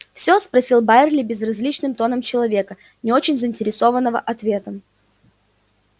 всё спросил байерли безразличным тоном человека не очень заинтересованного ответом